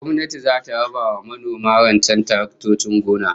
Gwamnati zata raba wa manoma rancen taraktocin gona